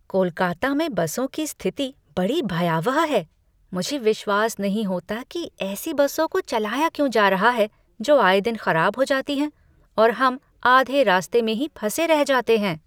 कोलकाता में बसों की स्थिति बड़ी भयावह है! मुझे विश्वास नहीं होता कि ऐसी बसों को चलाया क्यों जा रहा है जो आए दिन खराब हो जाती हैं, और हम आधे रास्ते में ही फंसे रह जाते हैं।